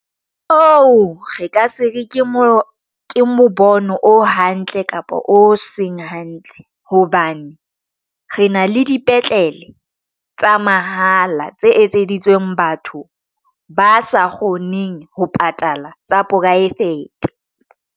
Oo re ka se re ke mo bono o hantle kapa o seng hantle hobane re na le dipetlele tsa mahala tse etseditsweng batho ba sa kgoneng ho patala tsa poraefete.